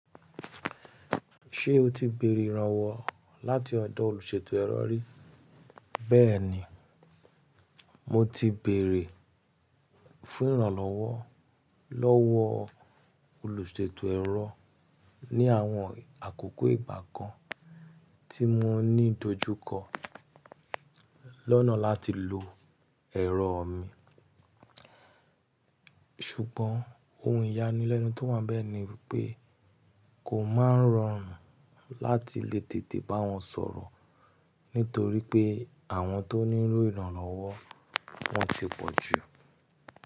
Ṣé o ti bèrè ìrànwọ́ láti ọ̀dọ̀ olùṣètò ẹ̀rọ rí? Bẹ́ẹ̀ni, mo ti bèrè fún ìrànlọ́wọ́ lọ́wọ́ olùṣètò ẹ̀rọ ní àwọn àkókò ìgbà kan tí mo ní ìdojúkọ lọ́nà láti lo ẹ̀rọ mi. Ṣùgbọ́n ohun ìyanilẹ́nu tó wà bẹ́ẹ̀ ni pé kò máa ń rọrùn láti le tètè bá wọn sọ̀rọ̀ nítorí pé àwọn tó nílò ìrànlọ́wọ́ wọ́n ti pọ̀ jù.